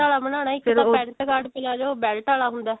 ਨਹੀਂ belt ਆਲਾ ਬਣਾਉਣਾ ਇੱਕ ਤਾਂ pent ਕਾਟ palazzo belt ਆਲਾ ਹੁੰਦਾ